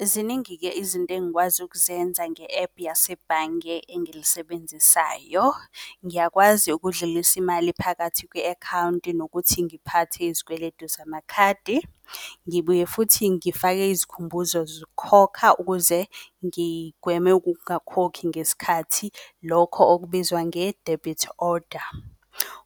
Ziningi-ke izinto engikwazi ukuzenza nge-app yasebhange engilisebenzisayo. Ngiyakwazi ukudlulisa imali phakathi kwe-akhawunti nokuthi ngiphathe izikweletu zamakhadi. Ngibuye futhi ngifake izikhumbuzo zokhokha ukuze ngigweme ukungakhokhi ngesikhathi. Lokho okubizwa ngedebhithi oda